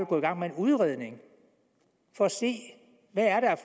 gå i gang med en udredning for at se hvad der er